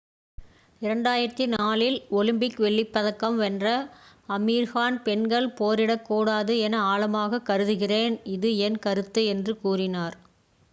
"2004 இல் ஒலிம்பிக் வெள்ளிப்பதக்கம் வென்ற ஆமீர் கான் "பெண்கள் போரிடக்கூடாது என ஆழமாக கருதுகிறேன். இது என் கருத்து" என்று கூறினார்.